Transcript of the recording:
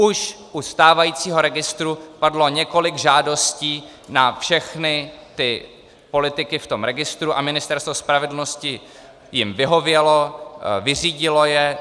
Už u stávajícího registru padlo několik žádostí na všechny ty politiky v tom registru a Ministerstvo spravedlnosti jim vyhovělo, vyřídilo je.